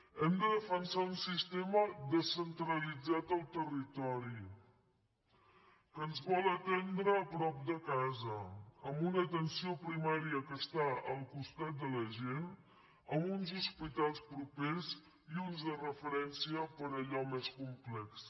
hem de defensar un sistema descentralitzat del territori que ens vol atendre a prop de casa amb una atenció primària que està al costat de la gent amb uns hospitals propers i uns de referència per a allò més complex